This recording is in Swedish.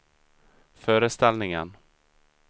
föreställningen